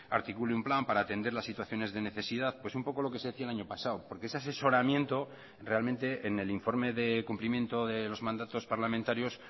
articule un plan para atender las situaciones de necesidad pues un poco lo que se decía el año pasado porque ese asesoramiento realmente en el informe de cumplimiento de los mandatos parlamentarios